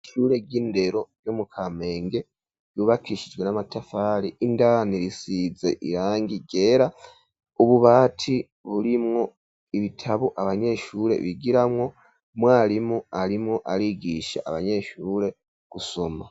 Ishure ry'indero ryo mu kamenge ryubakishijwe n'amatafari indani risize irangi ryera ububati burimwo ibitabo abanyeshure bigiramwo umwarimu arimwo arigisha abanyeshure gusoma.